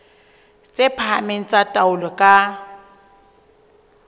tse phahameng tsa taolo ka